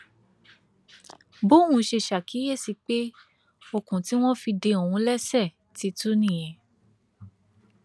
bòun ṣe ṣàkíyèsí pé okùn tí wọn fi de òun léṣe ti tú nìyẹn